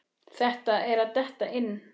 Þetta er að detta inn.